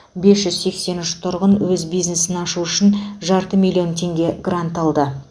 бес жүз сексен үш тұрғын өз бизнесін ашу үшін жарты миллион теңге грант алды